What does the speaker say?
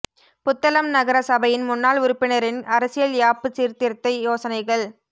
புத்தளம் நகர சபையின் முன்னாள் உறுப்பினரின் அரசியல் யாப்பு சீர்திருத்த யோசனைகள்